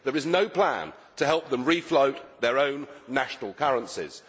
There is no plan to help them refloat their own national currencies.